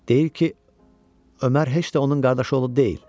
Deyir ki, Ömər heç də onun qardaşı oğlu deyil.